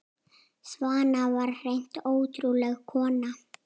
Svana var hreint ótrúleg kona.